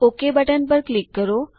okay button પર click કરો